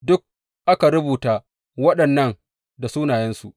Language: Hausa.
Duk aka rubuta waɗannan da sunayensu.